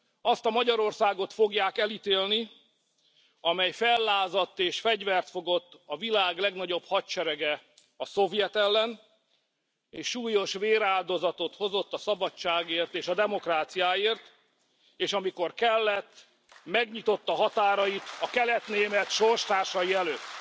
Azt a Magyarországot fogják elítélni, amely fellázadt, és fegyvert fogott a világ legnagyobb hadserege, a szovjet ellen, és súlyos véráldozatot hozott a szabadságért és a demokráciáért, és amikor kellett, megnyitotta határait a kelet német sorstársai előtt.